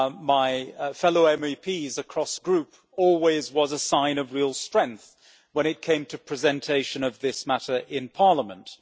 my fellow MEPs across the Group always was a sign of real strength when it came to presentation of this matter in Parliament.